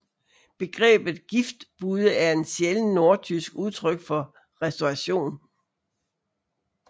Begrebet Giftbude er en sjælden nordtysk udtryk for restauration